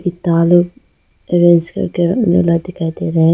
लाल orange colour का गोला दिखाई दे रहा है।